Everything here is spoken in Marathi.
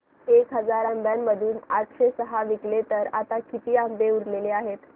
एक हजार आंब्यांमधून आठशे सहा विकले गेले तर आता किती आंबे उरले आहेत